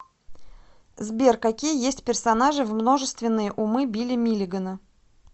сбер какие есть персонажи в множественные умы билли миллигана